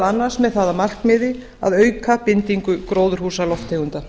annars með það að markmiði að auka bindingu gróðurhúsalofttegunda